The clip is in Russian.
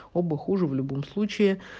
оба хуже в любом случае